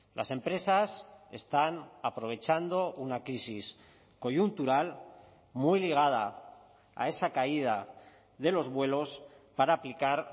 las empresas están aprovechando una crisis coyuntural muy ligada a esa caída de los vuelos para aplicar